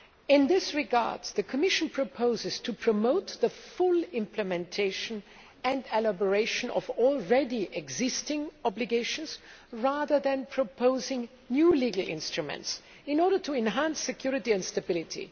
In this regard, the Commission proposes to promote the full implementation and elaboration of existing obligations, rather than proposing new legal instruments in order to enhance security and stability.